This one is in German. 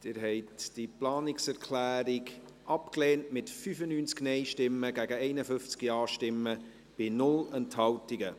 Sie haben diese Planungserklärung abgelehnt, mit 95 Nein- gegen 51 Ja-Stimmen bei 0 Enthaltungen.